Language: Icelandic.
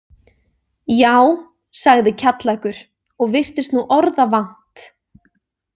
Já, sagði Kjallakur og virtist nú orða vant.